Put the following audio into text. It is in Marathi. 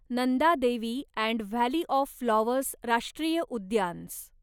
Nanda Devi and valley of flowers राष्ट्रीय उद्यान्स